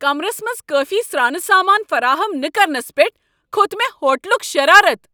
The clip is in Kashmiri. کمرس منٛز کٲفی سرانہٕ سامان فراہم نہٕ کرنس پٮ۪ٹھ کھوٚت مےٚ ہوٹلک شرارت۔